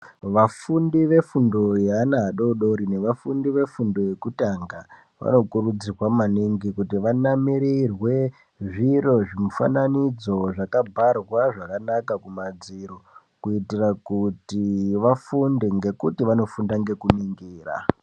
Vafundi vefundo yeana adodori nevafundi vefundo yekutanga vanokurudzirwa maningi kuti vanamirirwe zviro zvimufananidzo zvakadharwa zvakanaka kumadziro kuitira kuti vafunde ngekuti vanofunda nekuningira.